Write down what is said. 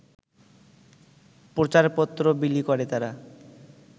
প্রচারপত্র বিলি করে তারা